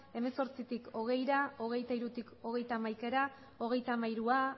hemezortzitik hogeira hogeita hirutik hogeita hamaikara hogeita hamairua